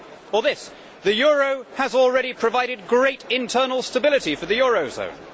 Or this The euro has already provided great internal stability for the eurozone'?